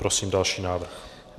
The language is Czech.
Prosím další návrh.